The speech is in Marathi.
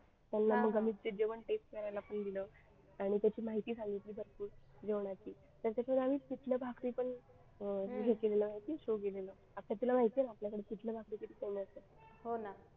त्यांना मग आम्ही ते जेवण taste करायला पण दिलं आणि त्याची माहिती सांगितली भरपूर जेवणाची त्यांच्यासोबत आम्ही पिठलं भाकर पण हे केलं show केलेलं आता तुला माहिती आहे ना आपल्याकडे पिठलं भाकरी किती famous आहे.